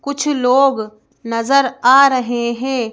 कुछ लोग नजर आ रहे हैं।